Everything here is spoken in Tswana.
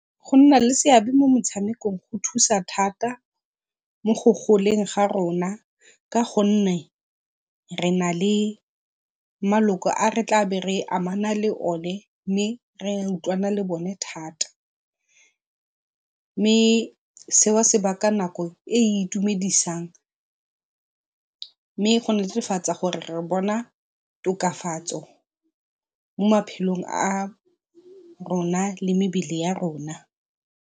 Go nna le seabe mo motshamekong go thusa thata mo go goleng ga rona ka go nne re nale maloko a re tlabe re amana le o ne, mme re utlwana le bone thata. Mme seo se baka nako e e itumedisang mme go netefatsa gore re bona tokafatso mo maphelong a rona le mebele ya rona.